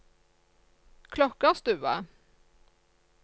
Klokkarstua